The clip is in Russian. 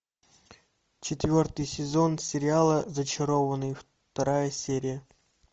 четвертый сезон сериала зачарованные вторая серия